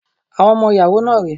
Àwọn ọmọ ìyàwó náà rẹ́.